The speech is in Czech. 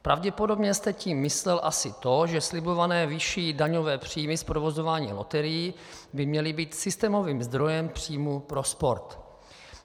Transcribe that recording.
Pravděpodobně jste tím myslel asi to, že slibované vyšší daňové příjmy z provozování loterií by měly být systémovým zdrojem příjmů pro sport.